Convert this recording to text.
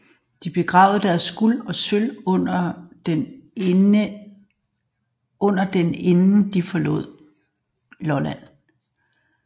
De begravede deres guld og sølv under den inden de forlod Lolland